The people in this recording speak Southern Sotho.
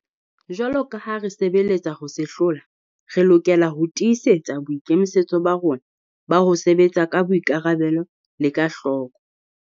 Jwalo ka ha re sebeletsa ho se hlola, re lokela ho tii setsa boikemisetso ba rona ba ho sebetsa ka boikarabelo le ka hloko.